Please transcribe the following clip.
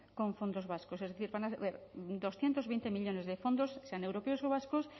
con fondos vascos es decir van a ser doscientos veinte millónes de fondos sean europeos o vascos